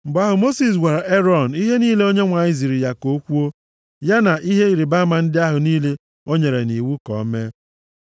Mgbe ahụ Mosis gwara Erọn ihe niile Onyenwe anyị ziri ya ka o kwuo, ya na ihe ịrịbama ndị ahụ niile o nyere nʼiwu ka o mee.